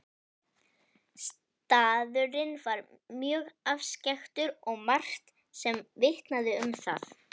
Staðurinn var mjög afskekktur og margt sem vitnaði um það.